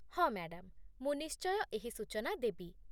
ହଁ ମ୍ୟାଡାମ୍, ମୁଁ ନିଶ୍ଚୟ ଏହି ସୂଚନା ଦେବି